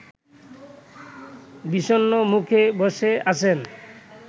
বিষণ্ন মুখে বসে আছেন